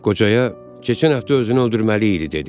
Qocaya keçən həftə özünü öldürməli idi dedi.